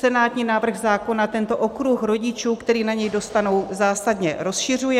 Senátní návrh zákona tento okruh rodičů, kteří na něj dostanou, zásadně rozšiřuje.